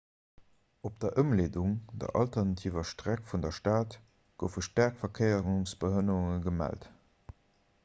op der ëmleedung der alternativer streck vun der stad goufe keng staark verkéiersbehënnerunge gemellt